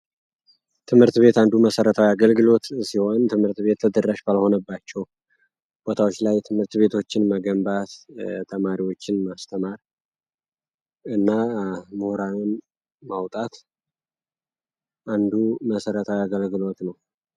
ትምህርት ቤት አንዱ መሠረታው አገልግሎት ሲሆን ትምህርት ቤት ተድራሽ ባልሆነባቸው ቦታዎች ላይ ትምህርት ቤቶችን መገንባት ተማሪዎችን ማስተማር እና ሙህራን ማውጣት አንዱ መሰረታዊው ያገልግሎት ነው።